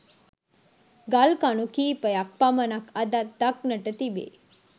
ගල් කණු කීපයක් පමණක් අදත් දක්නට තිබේ.